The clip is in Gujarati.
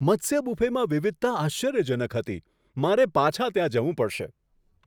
મત્સ્ય બુફેમાં વિવિધતા આશ્ચર્યજનક હતી! મારે વધુ માટે પાછા જવું પડશે.